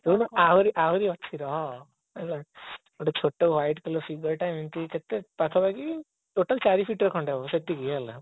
ଆହୁରି ଆହୁରି ଅଛି ରହ ଗୋଟେ ଛୋଟ white colour ଏମିତି କେତେ ପାଖାପାଖି total ଚାରି feet ର ଖଣ୍ଡେ ହେବ ସେତିକି ହେଲା